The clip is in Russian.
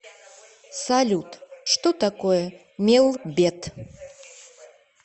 салют что такое мелбет